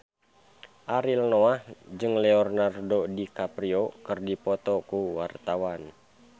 Ariel Noah jeung Leonardo DiCaprio keur dipoto ku wartawan